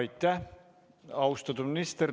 Aitäh, austatud minister!